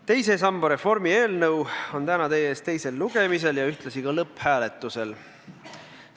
Teise samba reformi eelnõu on täna teie ees teisel lugemisel ja ühtlasi ka lõpphääletusel.